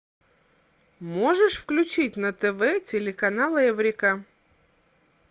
можешь включить на тв телеканал эврика